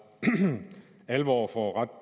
alvor for ret